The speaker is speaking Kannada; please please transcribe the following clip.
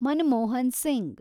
ಮನಮೋಹನ್ ಸಿಂಗ್